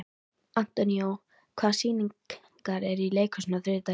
Antonio, hvaða sýningar eru í leikhúsinu á þriðjudaginn?